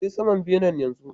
Je saman benen yanzu.